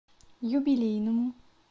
юбилейному